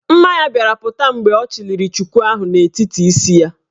Mma ya bịara pụta mgbe ọ chịliri chuku ahụ n'etiti isi ya.